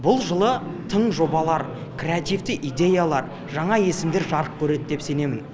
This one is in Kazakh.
бұл жылы тың жобалар креативті идеялар жаңа есімдер жарық көреді деп сенемін